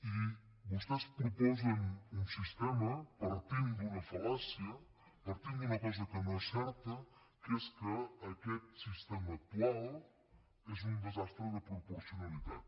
i vostès proposen un sistema partint d’una fal·làcia partint d’una cosa que no és certa que és que aquest sistema actual és un desastre de proporcionalitat